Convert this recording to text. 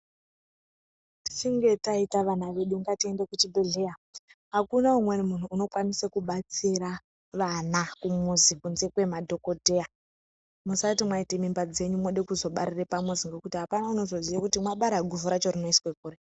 Tichinge taita vana vedu ngatiende kuchibhedhleya, akuna umweni munhu unokwanise kubatsira vana kumuzi kunze kwemadhokodheya musati mwaita mimba dzenyu mode kuzobarira pamuzi nekuti apana unozoziye kuti mabara guvhu tacho rinozoiswe kuri.